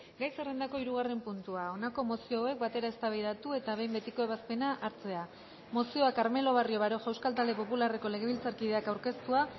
gai zerrendako hirugarren puntua honako mozio hauek batera eztabaidatu eta behin betiko ebazpena hartzea mozioa carmelo barrio baroja euskal talde popularreko legebiltzarkideak aurkeztua